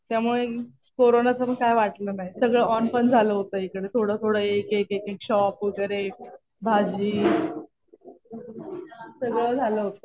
त्यामुळे कोरोनाचं पण काही वाटलं नाही. सगळं ऑन पण झालं होतं इकडे. थोडं थोडं एक एक शॉप वगैरे भाजी सगळं झालं होतं.